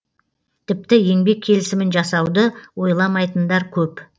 тіпті еңбек келісімін жасауды ойламайтындар көп